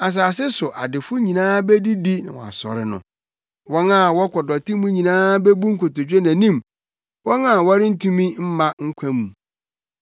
Asase so adefo nyinaa bedidi na wɔasɔre no; wɔn a wɔkɔ dɔte mu nyinaa bebu nkotodwe nʼanim, wɔn a wɔrentumi mma nkwa mu.